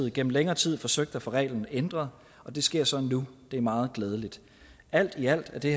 igennem længere tid forsøgt at få reglen ændret og det sker så nu det er meget glædeligt alt i alt er det